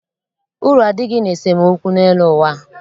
Uru adịghị n'esemookwu n'elu ụwa a.